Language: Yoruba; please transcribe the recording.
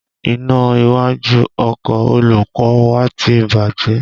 Iná iwájú ọkọ olùkọ́ ọ wa ti bàjẹ́